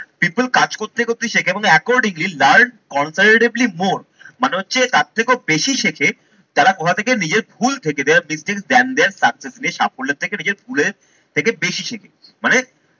people কাজ করতে করতে শেখে এবং accordingly learn comparatively more মানে হচ্ছে তার থেকেও বেশি শেখে যারা কোথা থেকে নিজের ভুল থেকে যারা বৃদ্ধির than their success সাফল্যের থেকে নিজের ভুলের থেকে বেশি শেখে মানে